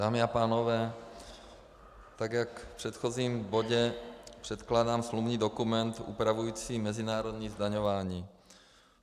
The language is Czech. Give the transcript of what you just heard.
Dámy a pánové, tak jak v předchozím bodě předkládám smluvní dokument upravující mezinárodní zdaňování.